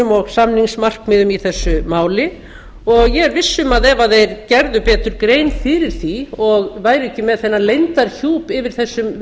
og samningsmarkmiðum í þessu máli ég er viss um að ef þeir gerðu betur grein fyrir því og væru ekki stöðugt með þennan leyndarhjúp yfir þessum